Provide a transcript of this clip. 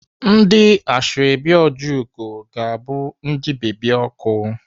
Ndị Ashọbị Ojiugo ga-abụ ndị bebi ọkụ.